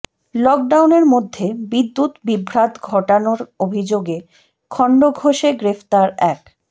লকডাউনের মধ্যে বিদ্যুৎ বিভ্রাট ঘটানোর অভিযোগে খণ্ডঘোষে গ্রেফতার এক